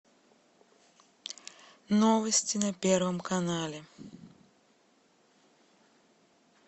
новости на первом канале